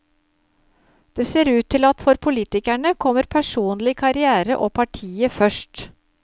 Det ser ut til at for politikerne kommer personlig karrière og partiet først.